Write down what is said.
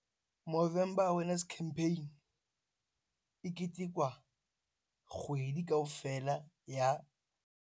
Movember Awareness campaign e ketekwa kgwedi kaofela ya.